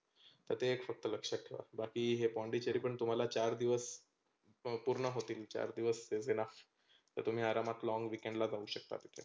तर ते एक फक्त लक्षात ठेवा बाकी हे पोंडीचेरी पण तुम्हाला चार दिवस पुर्ण होतील चार दिवस is enough तर तुम्ही long weekend जाऊ शकता तीथल्या.